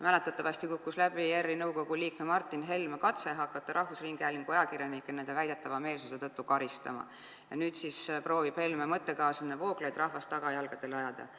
Mäletatavasti kukkus läbi ERR-i nõukogu liikme Martin Helme katse hakata rahvusringhäälingu ajakirjanikke nende väidetava meelsuse tõttu karistama ja nüüd siis proovib Helme mõttekaaslane Vooglaid rahvast tagajalgadele ajada.